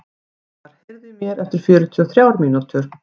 Þrastar, heyrðu í mér eftir fjörutíu og þrjár mínútur.